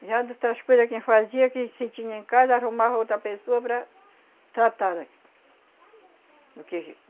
Já as outras coisa quem fazia, que se tinha em casa, arrumava outra pessoa para tratar da... do que